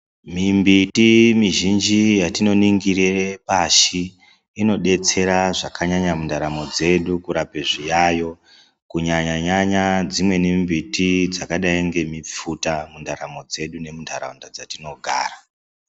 Mimbiti mizhinji yatinoningire pashi inodetsera zvakanyanya mundaramo dzedu kurape zviyayo, kunyanya-nyanya dzimweni mbuti dzakadai ngemifuta mundaramo dzedu nemuntaraunda dzatinogara.